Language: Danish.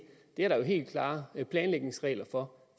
der er jo helt klare planlægningsregler for